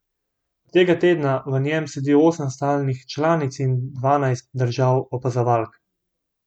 Od tega tedna v njem sedi osem stalnih članic in dvanajst držav opazovalk.